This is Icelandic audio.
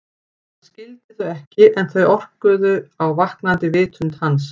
Hann skildi þau ekki en þau orkuðu á vaknandi vitund hans.